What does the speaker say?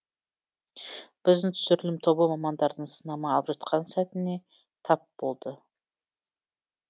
біздің түсірілім тобы мамандардың сынама алып жатқан сәтіне тап болды